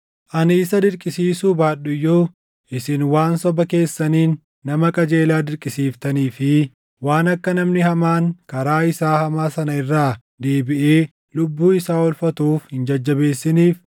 Ani isa dirqisiisuu baadhu iyyuu isin waan soba keessaniin nama qajeelaa dirqisiiftanii fi waan akka namni hamaan karaa isaa hamaa sana irraa deebiʼee lubbuu isaa oolfatuuf hin jajjabeessiniif,